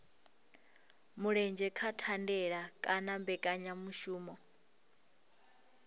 mulenzhe kha thandela kana mbekanyamushumo